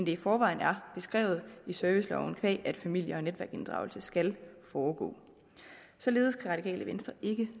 i forvejen er beskrevet i serviceloven qua at familie og netværksinddragelse skal foregå således kan radikale venstre ikke